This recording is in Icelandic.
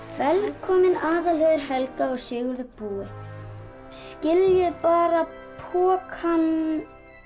velkomin Aðalheiður Helga og Sigurður búi skiljið bara pokann